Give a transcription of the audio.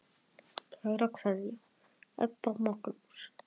Kær kveðja, Ebba og Magnús.